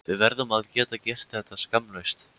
Við verðum að geta gert þetta skammlaust.